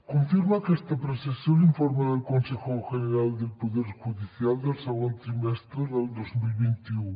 confirma aquesta apreciació l’informe del consejo general del poder judicial del segon trimestre del dos mil vint u